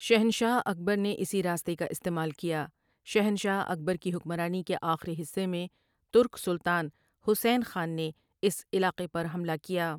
شہنشاہ اکبر نے اسی راستے کا استعمال کیا شہنشاہ اکبر کی حکمرانی کے آخری حصے میں ترک سلطان حسین خان نے اس علاقے پر حملہ کیا ۔